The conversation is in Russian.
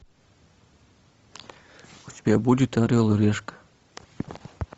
у тебя будет орел и решка